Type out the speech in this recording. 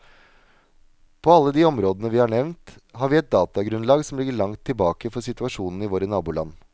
På alle de områdene vi har nevnt, har vi et datagrunnlag som ligger langt tilbake for situasjonen i våre naboland.